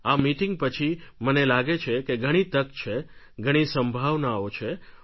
આ મિટિંગ પછી મને લાગે છે કે ઘણી તક છે ઘણી સંભાવનાઓ છે